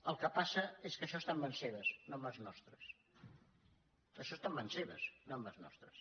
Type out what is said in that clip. el que passa és que això està en mans seves no en mans nostres això està en mans seves no en mans nostres